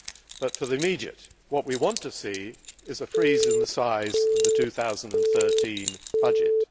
But for the immediate what we want to see is a freeze in the size of the 2013 budget.